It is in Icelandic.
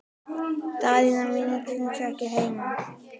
Daðína mín er kannski ekki heima?